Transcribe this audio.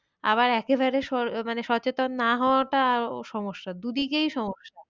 আবার একেবারে মানে সচেতন না হওয়াটাও সমস্যা দুদিকেই সমস্যা।